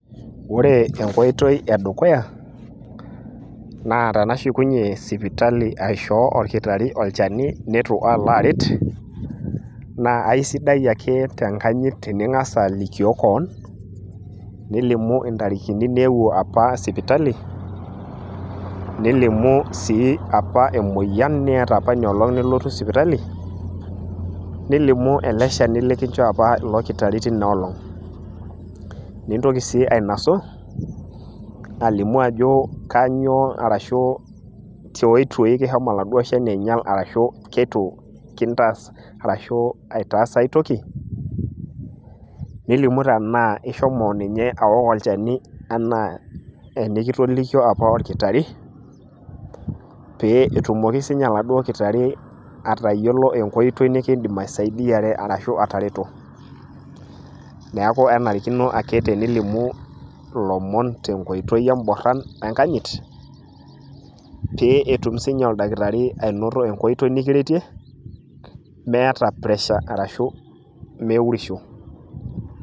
ore enkoitoi edukuya, naa tenashukunye sipitali aishoo oldakitari olchani neitu aalo aret. naa aisidai ake tenkanyit tening'as alikioo kewon, nilimu intarikini apa niyeuwuo sipitali, nilimu sii apa emoyian niyata apa inoloong pee ilotu sipitali, nilimu ele shani likinchoo apa ilo kittari teina olong'. nintoki sii ainosu, alimu ajo kainyioo, arashu tiotoi kishomo oladuo shani aing'al ashu keitu, ashu keitu kintaas aitoki, nilimu tenaa isomo inye aok olchani anaa enikitolikio oladuoo kitari, pee etumoki sii ninye oladuoo kitari atayiolo enkoitoi nikidim aisaidiare arashu atareto, neeku kenarikino aketenilimu ilomon te boron ashu tenkoitoi enkanyit, pee etum sii ninye olkitari atayiolo enkoitoi nikiretie, meeta pressure arashu meiurisho.